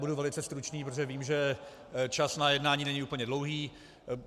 Budu velice stručný, protože vím, že čas na jednání není úplně dlouhý.